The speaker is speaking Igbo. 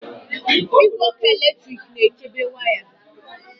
Igwe ọkụ eletrik na-echebe waya